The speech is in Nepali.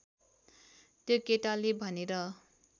त्यो केटाले भनेर